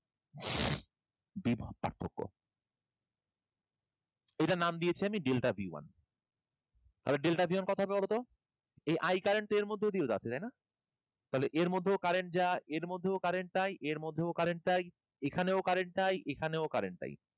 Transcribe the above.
এইটার নাম দিয়েছি আমি delta b one, এবার delta b one কতো হবে বলো তো? এই I current এর মধ্য দিয়েও যাচ্ছে জানো? তাহলে এর মধ্যেও current যা এর মধ্যেও current তাই এর মধ্যেও current তাই। এখানেও current তাই এখানেও current তাই।